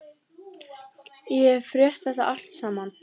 Ég hef frétt þetta allt saman.